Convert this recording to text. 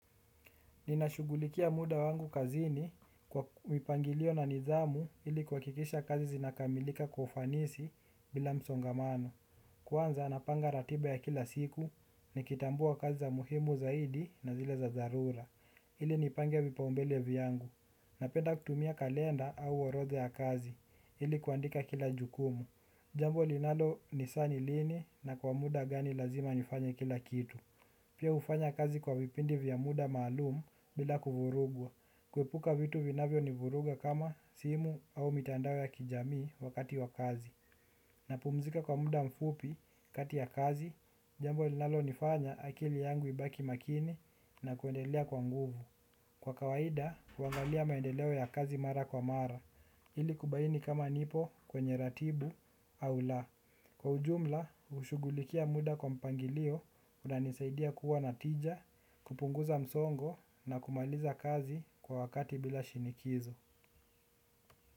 Ninashugulikia muda wangu kazini kwa mipangilio na nidhamu ili kuhakikisha kazi zinakamilika kwa ufanisi bila msongamano. Kwanza napanga ratiba ya kila siku nikitambua kazi za muhimu zaidi na zile za dharura. Ilinipange vipaumbele vyangu. Napenda kutumia kalenda au orodha ya kazi ili kuandika kila jukumu. Jambo linalonisaa nilini na kwa muda gani lazima nifanye kila kitu. Pia hufanya kazi kwa vipindi vya muda maalumu bila kuvurugwa. Kuepuka vitu vinavyo nivuruga kama simu au mitandao ya kijamii wakati wa kazi. Na pumzika kwa muda mfupi kati ya kazi, jambo linalonifanya akili yangu ibaki makini na kuendelea kwa nguvu. Kwa kawaida, huangalia maendeleo ya kazi mara kwa mara, ili kubaini kama nipo kwenye ratibu au la. Kwa ujumla, shugulikia muda kwa mpangilio, unanisaidia kuwa na tija, kupunguza msongo na kumaliza kazi kwa wakati bila shinikizo.